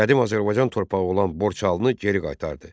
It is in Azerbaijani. Qədim Azərbaycan torpağı olan Borçalını geri qaytardı.